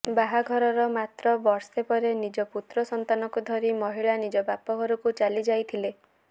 ବାହାଘରର ମାତ୍ର ବର୍ଷେ ପରେ ନିଜ ପୁତ୍ର ସନ୍ତାନକୁ ଧରି ମହିଳା ନିଜ ବାପଘରକୁ ଚାଲି ଯାଇଥିଲେ